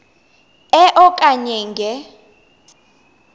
e okanye nge